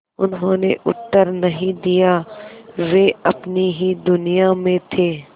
उन्होंने उत्तर नहीं दिया वे अपनी ही दुनिया में थे